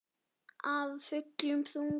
Af fullum þunga.